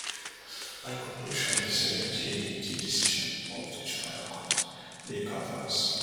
my conclusion be say di di decision of di trial court dey perverse